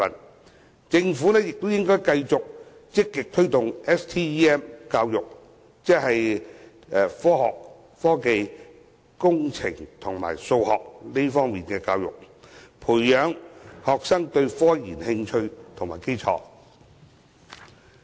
此外，政府亦應繼續積極推動 STEM 教育，即科學、技術、工程及數學教育，培養學生對科研的興趣和基礎。